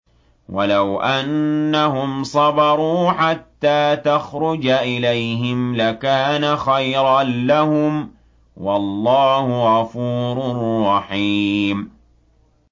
وَلَوْ أَنَّهُمْ صَبَرُوا حَتَّىٰ تَخْرُجَ إِلَيْهِمْ لَكَانَ خَيْرًا لَّهُمْ ۚ وَاللَّهُ غَفُورٌ رَّحِيمٌ